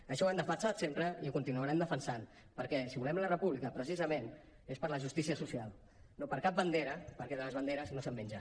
això ho hem defensat sempre i ho continuarem defensant perquè si volem la república precisament és per la justícia social no per cap bandera perquè de les banderes no se’n menja